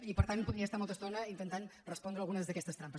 i per tant podria estar molta estona intentant respondre algunes d’aquestes trampes